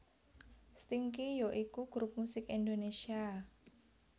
Stinky ya iku grup musik Indonesia